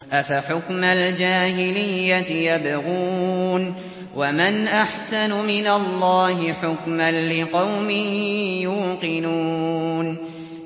أَفَحُكْمَ الْجَاهِلِيَّةِ يَبْغُونَ ۚ وَمَنْ أَحْسَنُ مِنَ اللَّهِ حُكْمًا لِّقَوْمٍ يُوقِنُونَ